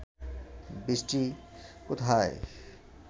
বৃষ্টি কোথায়